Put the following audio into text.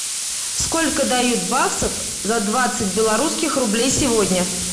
сколько дают баксов за двадцать белорусских рублей сегодня